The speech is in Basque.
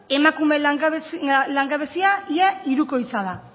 emakumeen langabezia ia hirukoitza da